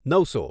નવસો